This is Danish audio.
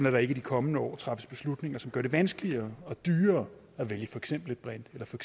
at der ikke i de kommende år træffes beslutninger som gør det vanskeligere og dyrere at vælge for eksempel et brint eller for